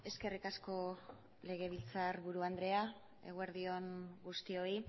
eskerrik asko legebiltzarburu andrea eguerdi on guztioi